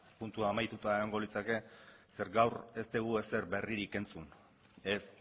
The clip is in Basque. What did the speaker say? puntua amaitua egongo litzake zeren gaur ez dugu ezer berririk entzun ez